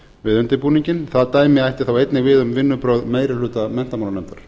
við undirbúninginn það dæmi ætti þá einnig við um vinnubrögð meiri hluta menntamálanefndar